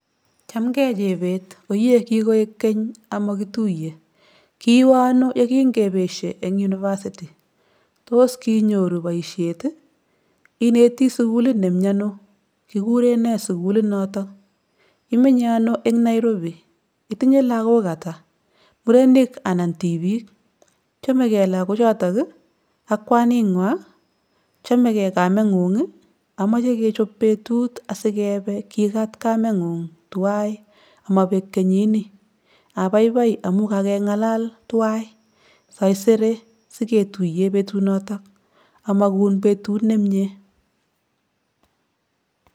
Chamgei Chebet, oyee kikoek keny amakituye, kiwe ano ye kingepesie eng university, tos kinyoru boisiet, ineti sukulit nemi anoo , kikurenee sukulit noto, imenye ano eng Nairobi, itinye lakok atak, murenik anan tipik? Chamegei lakochoto ak kwaningwai, chamegei kamengung? Amache kechop betut sikepe ipkekat kamengung tuwai komabek kenyini. Abaibai amun kangelal tuwai, saisere siketuiye betunoto. Amakun betut nemnyee.